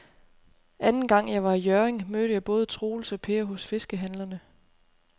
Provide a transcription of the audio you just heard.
Anden gang jeg var i Hjørring, mødte jeg både Troels og Per hos fiskehandlerne.